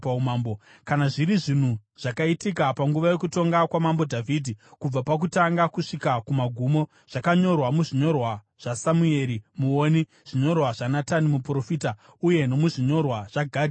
Kana zviri zvinhu zvakaitika panguva yokutonga kwaMambo Dhavhidhi kubva pakutanga kusvika kumagumo, zvakanyorwa muzvinyorwa zvaSamueri muoni, zvinyorwa zvaNatani muprofita, uye nomuzvinyorwa zvaGadhi muoni,